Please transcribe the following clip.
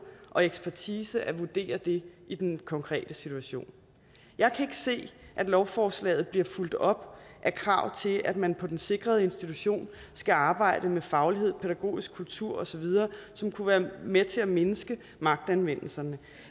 og ekspertise at vurdere det i den konkrete situation jeg kan se at lovforslaget bliver fulgt op af krav til at man på den sikrede institution skal arbejde med faglighed pædagogisk kultur osv som kunne være med til at mindske magtanvendelserne